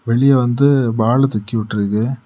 வெளிய வந்து பால தூக்கிவிட்டுருக்கு.